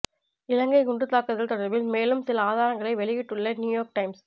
இலங்கை குண்டுத் தாக்குதல் தொடர்பில் மேலும் சில ஆதாரங்களை வெளியிட்டுள்ள நியுயோர்க் டைம்ஸ்